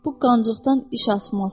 Bu qancıqdan iş asmaz.